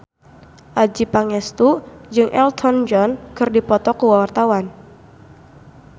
Adjie Pangestu jeung Elton John keur dipoto ku wartawan